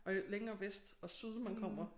Og jo længere vest og syd man kommer